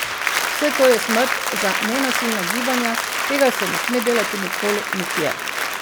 Vse to je smrt za nenasilna gibanja, tega se ne sme delati nikoli, nikjer.